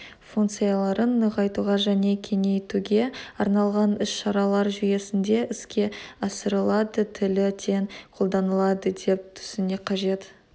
функцияларын нығайтуға және кеңейтуге арналған ісшаралар жүйесінде іске асырылады тілі тең қолданылады деп түсіну қажет